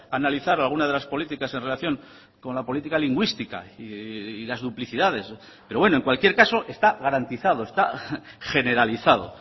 analizar algunas de las políticas en relación con la política lingüística y las duplicidades pero bueno en cualquier caso está garantizado está generalizado